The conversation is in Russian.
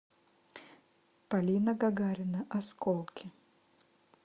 полина гагарина осколки